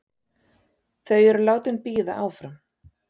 Þau eru látin bíða áfram.